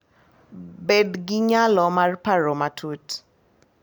Bed gi nyalo mar paro matut,